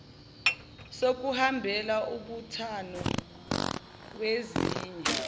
sokuhambela umbuthano wezinye